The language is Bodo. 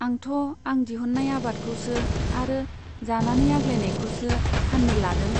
आंथ' आं दिहुन्नाय आबादखौसो आरो जानानै आग्लायनायखौसो फान्नो लादों।